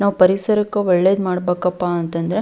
ನಾವ್ ಪರಿಸರಕ್ಕೆ ಒಳ್ಳೇದ್ ಮಾಡ್ಬೇಕಪ್ಪ ಅಂತ ಅಂದ್ರೆ --